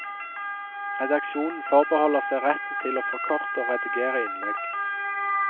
Redaksjonen forbeholder seg retten til å forkorte og redigere innlegg.